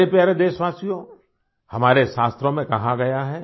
मेरे प्यारे देशवासियों हमारे शास्त्रों में कहा गया है